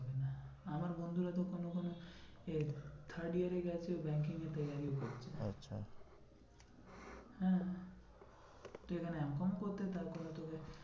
আমার বন্ধুরা কোনো কোনো এ third year এ গেছে banking এর ও করছে। আচ্ছা হ্যাঁ তুই এখানে M com ও করতে থাক ওরা তোকে